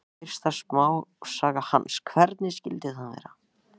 Fyrsta smásaga hans, Hvernig skyldi það vera?